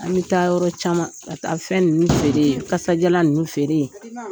An bɛ taa yɔrɔ caman, ka taa fɛn ninnu feere yen, kasadiyalan ninnu feere yen.